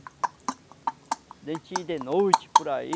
De a gente ir de noite por aí.